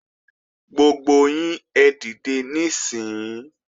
Gbogbo yín ẹ dìde níìsín!